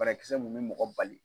Banakisɛ munnu bɛ mɔgɔ bali.